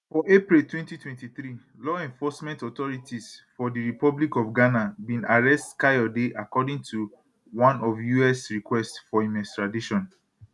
for april 2023 law enforcement authorities for di republic of ghana bin arrest kayode according to one us request for im extradition